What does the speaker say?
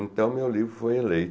Então, meu livro foi